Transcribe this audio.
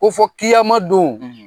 Ko fɔ don